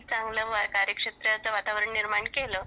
चांगलं कार्यक्षेत्रात वातावरण निर्माण केलं